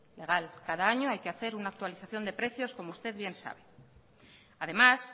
legal cada año hay que hacer una actualización de precios como usted bien sabe además